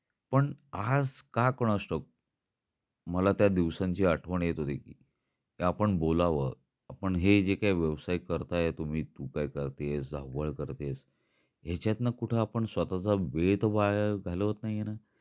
पण आज का कुणास ठाऊक मला त्या दिवसांची आठवण येते होती, कि आपण बोलाव, आपण हे जे काय व्यवसाय करता तुम्ही तू काय करते आहेस, धावपळ करते आहेस, ह्याचंतन कुठ आपण स्वतःचा वेळ तर वाया घालवत नाही ना?